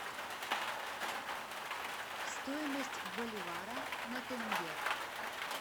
стоимость боливара на тенге